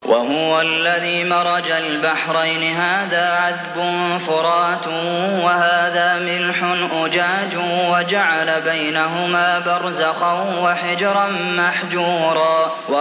۞ وَهُوَ الَّذِي مَرَجَ الْبَحْرَيْنِ هَٰذَا عَذْبٌ فُرَاتٌ وَهَٰذَا مِلْحٌ أُجَاجٌ وَجَعَلَ بَيْنَهُمَا بَرْزَخًا وَحِجْرًا مَّحْجُورًا